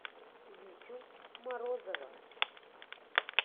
витю морозова